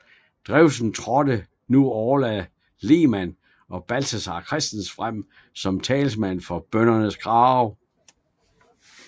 Drewsen trådte nu Orla Lehmann og Balthazar Christensen frem som talsmænd for bøndernes krav